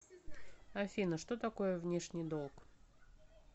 афина что такое внешний долг